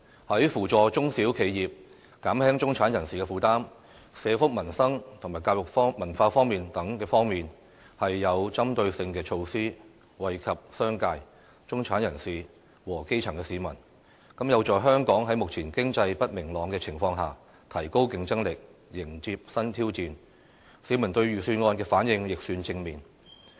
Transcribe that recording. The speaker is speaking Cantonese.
在扶助中小企業、減輕中產人士負擔、社福民生及教育文化等方面，均有針對性措施，惠及商界、中產人士和基層市民，有助香港在目前經濟不明朗的情況下，提高競爭力，迎接新挑戰，市民對預算案的反應亦算正面。